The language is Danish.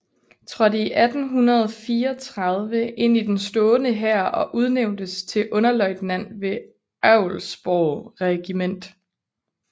Trådte 1834 ind i den stående hær og udnævntes til underløjtnant ved Älvsborgs regiment